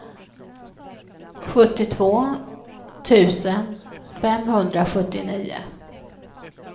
sjuttiotvå tusen femhundrasjuttionio